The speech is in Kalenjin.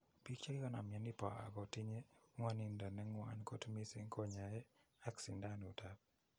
Pik chegikonam mioni po ago tinye ngwonindo ne ngwan kot mising kinyoe ak sindanut ap.